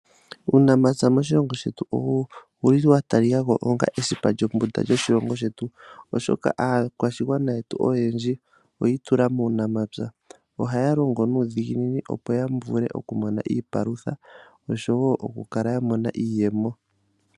Uunamapya moshilongo shetu owuli wa talikako onga esipa lyombunda yoshilongo shetu, oshoka aakwashigwana yetu oyendji oya itula muunamapya. Ohaya longo nuudhiginini opo ya vule okumona iipalutha, oshowo okukala ya mona iiyemo.